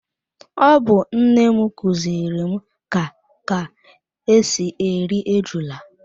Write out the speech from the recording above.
Ọ bu nnem kuziri m ka ka esi eri ejula